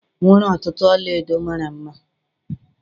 o nwere ntutu ọla-edo mara mma.